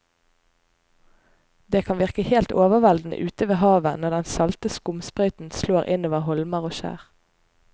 Det kan virke helt overveldende ute ved havet når den salte skumsprøyten slår innover holmer og skjær.